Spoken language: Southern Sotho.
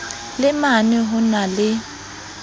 le mane ho na le